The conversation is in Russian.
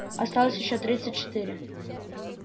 осталось ещё тридцать четыре